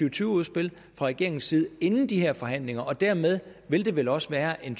og tyve udspil fra regeringens side inden de her forhandlinger og dermed vil det vel også være en